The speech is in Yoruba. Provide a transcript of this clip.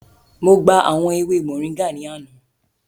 Mo gba awọn ewe móringạ ni ana.